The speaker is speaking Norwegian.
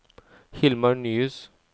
Hilmar Nyhus